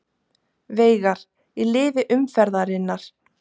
Veigar í liði umferðarinnar